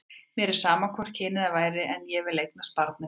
Mér væri sama hvort kynið það væri, en ég vil eignast barn með þér.